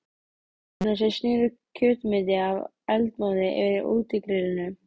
Kokkarnir sem sneru kjötmeti af eldmóði yfir útigrillinu.